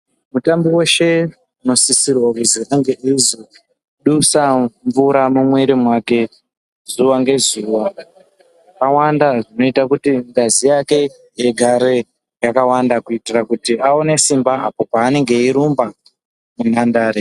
Mutambi veshe unosisirwa kuzi ange ezodusa mvura mumwiri mwake zuva ngezuva. Zvakawanda zvinota kuti ngazi yake igare yakawanda kuitira kuti aone simba apo paanenge eirumba munhandare.